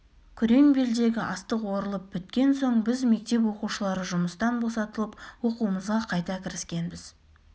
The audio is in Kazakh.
күреңбелдегі астық орылып біткен соң біз мектеп оқушылары жұмыстан босатылып оқуымызға қайта кіріскенбіз